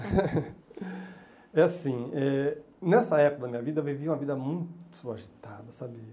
É assim eh, nessa época da minha vida, eu vivi uma vida muito agitada, sabe?